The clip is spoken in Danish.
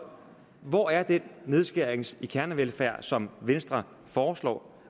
hvor er den nedskæring i kernevelfærden som venstre foreslår